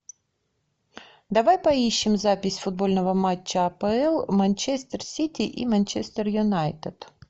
давай поищем запись футбольного матча апл манчестер сити и манчестер юнайтед